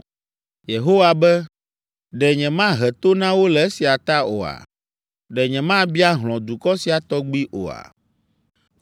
Yehowa be, “Ɖe nyemahe to na wo le esia ta oa? Ɖe nyemabia hlɔ̃ dukɔ sia tɔgbi oa?